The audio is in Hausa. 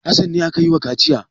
Hassan ne ake yi wa kaciya.